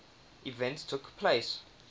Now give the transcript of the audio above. events took place